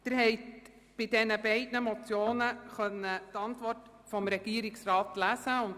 Sie haben die Stellungnahme des Regierungsrats zu den zwei Motionen 053-2017 und 104 2017 lesen können.